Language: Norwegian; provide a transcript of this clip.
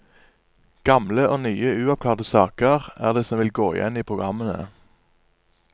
Gamle og nye uoppklarte saker er det som vil gå igjen i programmene.